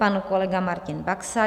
Pan kolega Martin Baxa.